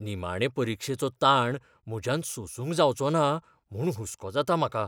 निमाणें परिक्षेचो ताण म्हज्यान सोसूंक जावचो ना म्हूण हुस्को जाता म्हाका.